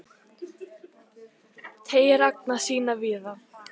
Teygir anga sína víða